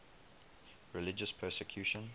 religious persecution